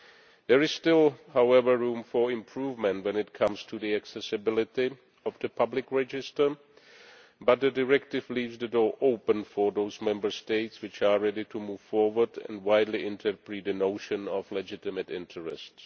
However, there is still room for improvement when it comes to the accessibility of the public register, but the directive leaves the door open for those Member States which are ready to move forward and widely interpret the notion of legitimate interests.